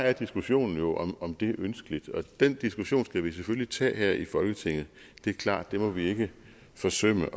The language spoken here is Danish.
er diskussionen jo om om det er ønskeligt og den diskussion skal vi selvfølgelig tage her i folketinget det er klart det må vi ikke forsømme